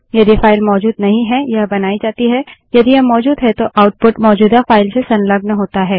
यदि फाइल मौजूद नहीं है यह बनाई जाती है यदि यह मौजूद है तो आउटपुट मौजूदा फाइल से संलग्न होता है